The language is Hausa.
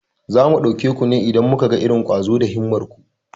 Za mu ɗauke ku ne idan muka ga irin ƙwazo da himmar ku.